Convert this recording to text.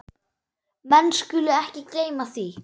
Menn skulu ekki gleyma því.